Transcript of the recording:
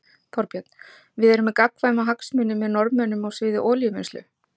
Þorbjörn: Við erum með gagnkvæma hagsmuni með Norðmönnum á sviði olíuvinnslu?